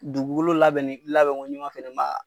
Dugukolo labɛnnen labɛn ko ɲuman